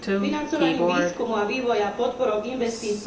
Financovaním výskumu a vývoja, podporou investícií